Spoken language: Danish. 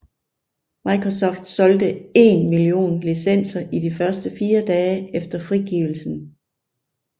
Microsoft solgte én million licenser i de første fire dage efter frigivelsen